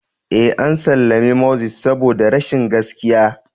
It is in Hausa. Ee, an sallami Moses saboda rashin gaskiya.